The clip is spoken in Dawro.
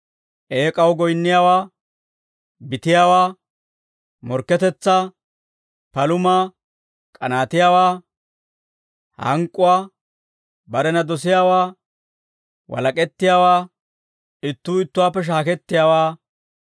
eek'aw goyinniyaawaa, bitiyaawaa, morkketetsaa, palumaa, k'anaatiyaawaa, hank'k'uwaa, barena dosiyaawaa, walak'ettiyaawaa, ittuu ittuwaappe shaakettiyaawaa,